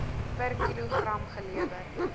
per kilogram gelewer